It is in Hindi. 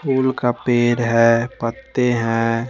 फूल का पेड़ हैं पत्ते हैं--